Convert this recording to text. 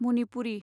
Manipuri